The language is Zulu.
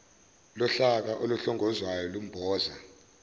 lohlaka oluhlongozwayo lumboza